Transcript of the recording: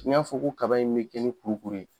N y'a fɔ ko kaba in bɛ kɛ nin kurukuru ye.